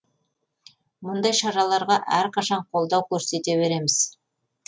мұндай шараларға әрқашан қолдау көрсете береміз